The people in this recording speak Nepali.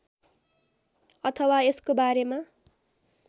अथवा यसको बारेमा